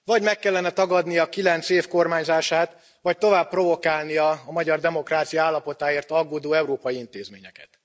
Vagy meg kellene tagadnia kilenc év kormányzását, vagy tovább provokálnia a magyar demokrácia állapotáért aggódó európai intézményeket.